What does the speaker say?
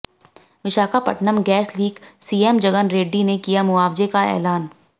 Visakhapatnam gas leak CM Jagan Reddy ने किया मुआवजे का एलान